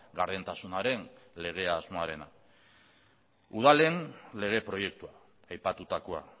gardentasunaren legea asmoarena udalen lege proiektua aipatutakoa